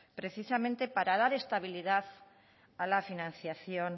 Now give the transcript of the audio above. precisamente para dar estabilidad a la financiación